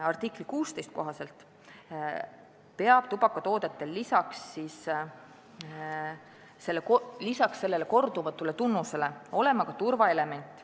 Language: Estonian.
Artikli 16 kohaselt peab tubakatoodetel lisaks sellele kordumatule tunnusele olema ka turvaelement.